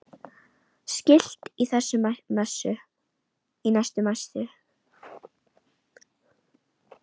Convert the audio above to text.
Skilti í næstu messu?